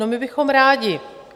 No, my bychom rádi.